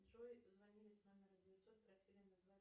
джой звонили с номера девятьсот просили назвать